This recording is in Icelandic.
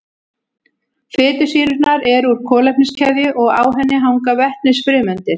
Fitusýrurnar eru úr kolefniskeðju og á henni hanga vetnisfrumeindir.